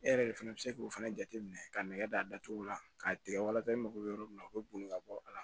E yɛrɛ de fana bɛ se k'o fana jateminɛ ka nɛgɛ datugu la k'a tigɛ walasa e mako bɛ yɔrɔ min na u bɛ boli ka bɔ a la